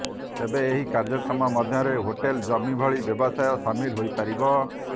ତେବେ ଏହି କାର୍ଯ୍ୟକ୍ରମ ମଧ୍ୟରେ ହୋଟେଲ ଜିମ ଭଳି ବ୍ୟବସାୟ ସାମିଲ ହୋଇ ପାରିବ